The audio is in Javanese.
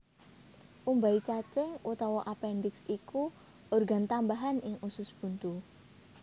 Umbai cacing utawa apendiks iku organ tambahan ing usus buntu